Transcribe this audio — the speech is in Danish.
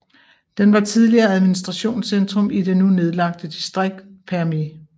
Den var tidligere administrationscentrum i det nu nedlagte distrikt Përmet